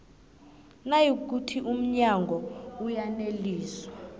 nayikuthi umnyango uyaneliswa